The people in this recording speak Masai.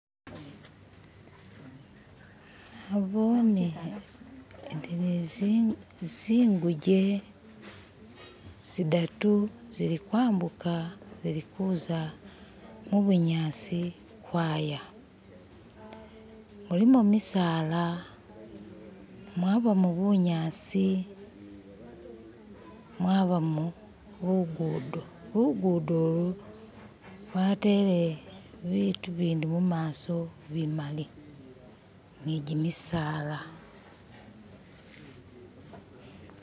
Nabone zinguje zidatu zilikwambuka zilikuza mubunyasi ukwaya mulimo gimisala, mwabamu bunyasi mwabamo lugudo, lugudo lu batele ibintu bindi mumaso bimali ni jimisala.